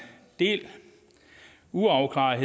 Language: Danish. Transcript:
del uafklarede